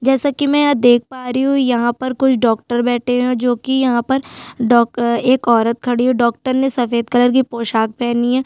जैसा की मैं यहाँ देख पा रही हूँ यहाँ पर कुछ डॉक्टर बैठे है जो की यहाँ पर डॉक् एक औरत खड़ी है डॉक्टर ने सफ़ेद कलर की पोशाक पहनी है।